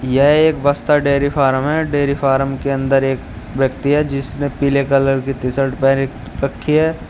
यह एक Bastar dairy farm है डेरी फार्म के अंदर एक व्यक्ति है जिसने पीले कलर की टीशर्ट पहन रखी है।